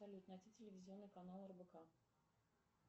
салют найди телевизионный канал рбк